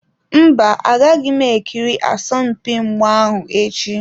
Mba, agaghị m ekiri asọmpi mgba ahụ echi.